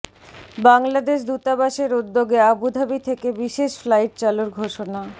বাংলাদেশ দূতাবাসের উদ্যোগে আবুধাবি থেকে বিশেষ ফ্লাইট চালুর ঘোষণা